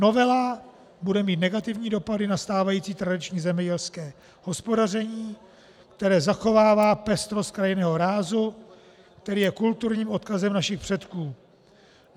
Novela bude mít negativní dopady na stávající tradiční zemědělské hospodaření, které zachovává pestrost krajinného rázu, který je kulturním odkazem našich předků.